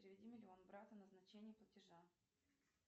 переведи миллион брату назначение платежа